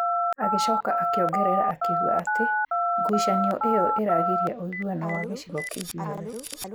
Agĩcoka akĩongerera akiuga ati, ngucanio ĩo ĩragiria ũiguano wa gĩcigo kĩu gĩothe.